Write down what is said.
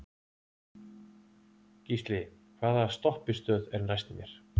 Gísli, hvaða stoppistöð er næst mér?